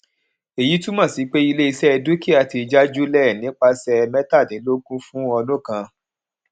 èyí túmọ sí pé iléiṣẹ dúkìá ti jájulẹ nípasẹ mẹtàdínlógún fún ọdún kan